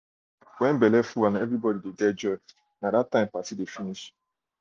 um when belle full and everybody de get joy nai party dey finish